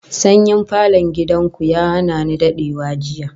Sanyin falon gidan ku ya hana ni dadewa jiya